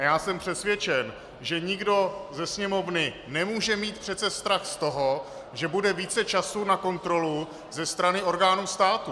A já jsem přesvědčen, že nikdo ze Sněmovny nemůže mít přece strach z toho, že bude více času na kontrolu ze strany orgánů státu.